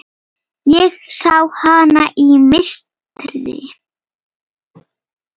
Ég sé hana í mistri.